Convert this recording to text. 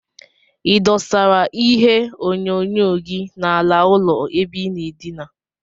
Idosara ihe onyonyo gi na ala ụlọ ebe inaa edina?